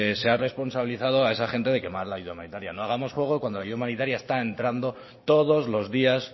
se ha responsabilizado a esa gente de quemar la ayuda humanitaria no hagamos fuego cuando la ayuda humanitaria está entrando todos los días